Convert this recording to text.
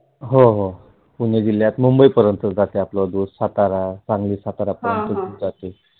हो हो पुणे जिल्ह्यात मुंबई पर्यंत जाते आपला दुध, सातारा, सांगली सातारा पर्यंत जाते.